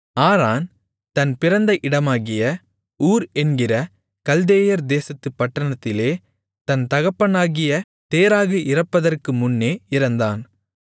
ஆரான் தன் பிறந்த இடமாகிய ஊர் என்கிற கல்தேயர் தேசத்துப் பட்டணத்திலே தன் தகப்பனாகிய தேராகு இறப்பதற்குமுன்னே இறந்தான்